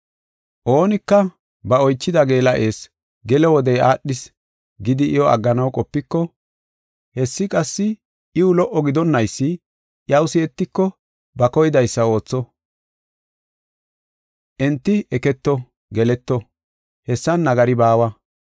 Oonika ba oychida geela7es gelo wodey aadhis gidi iyo agganaw qopiko, hessi qassi iw lo77o gidonnaysi iyaw si7etiko, ba koydaysa ootho; enti eketo, geleto; hessan nagari baawa.